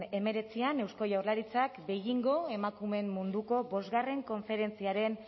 hemeretzian eusko jaurlaritzak beijingo emakumeen munduko bostgarren konferentziaren